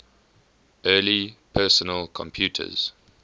early personal computers